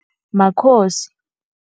Makhosi.